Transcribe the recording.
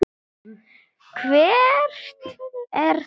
Hvert er það?